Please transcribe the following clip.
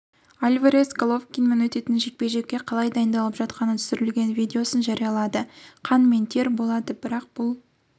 альварес головкинмен өтетін жекпе-жекке қалай дайындалып жатқаны түсірілген видеосын жариялады қан мен тер болады бірақ бұл